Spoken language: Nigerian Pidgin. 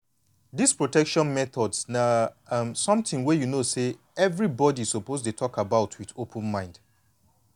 this protection methods na um something wey you know say everybody suppose dey talk about with open mind